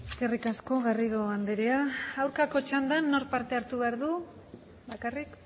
eskerrik asko garrido andrea aurkako txandan nork parte hartu behar du bakarrik